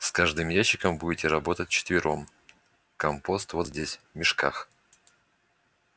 с каждым ящиком будете работать вчетвером компост вот здесь в мешках